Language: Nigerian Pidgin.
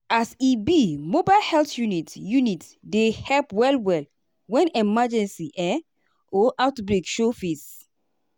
as e be mobile health unit unit dey help well-well when emergency um or outbreak show face.